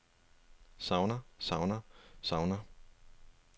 savner savner savner